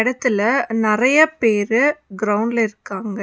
இந்த எடத்துல நெறைய பேரு கிரவுண்ட்ல இருக்காங்க.